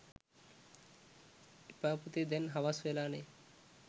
එපා පුතේ දැන් හවස් වෙලානෙ